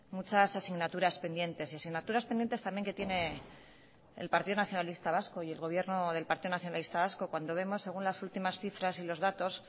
muchas asignaturas pendientes asignaturas pendientes también que tiene el partido nacionalista vasco y el gobierno del partido nacionalista vasco cuando vemos según las últimas cifras y los datos